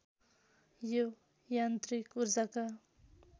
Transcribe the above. यो यान्त्रिक ऊर्जाका